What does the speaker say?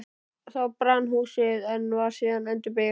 Þá brann húsið, en var síðan endurbyggt.